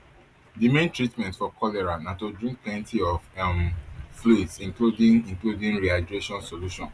di main treatment for cholera na to drink plenty of um fluids including including rehydration solution